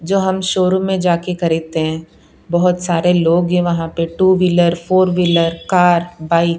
जो हम शोरूम में जाके खरीदते है बहोत सारे लोग है वहां पे two wheeler four wheeler car bike --